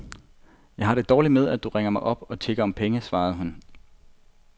Jeg har det dårligt med, at du ringer mig op og tigger om penge, svarede han hende.